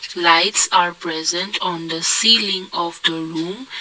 lights are present on the ceiling of the room.